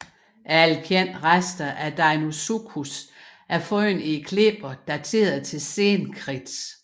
Alle kendte rester af Deinosuchus er fundet i klipper dateret til Sen Kridt